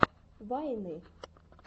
вайны